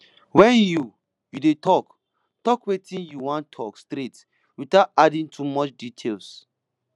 when you you dey talk talk wetin you wan talk straight without adding too much details